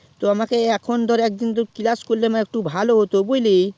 তো আমাকে এখন class করলে ভালো হতো বুঝলিস